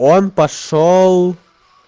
он пошёл